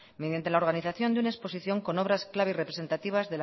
mediante la organización de una exposición con obras clave y representativas